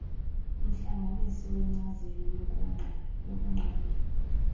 umhlanganisi wenkcazelo yokunqanda